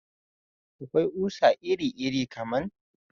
Akwai ƙusa iri iri kaman